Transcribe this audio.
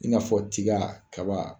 I n'a fɔ tiga kaba